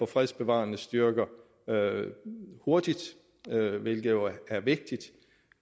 fredsbevarende styrker hurtigt hvilket jo er vigtigt